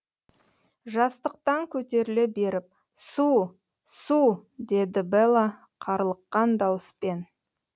жастықтан көтеріле беріп су су деді бэла қарлыққан дауыспен